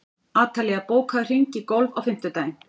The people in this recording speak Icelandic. Atalía, bókaðu hring í golf á fimmtudaginn.